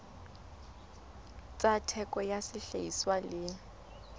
tsa theko ya sehlahiswa le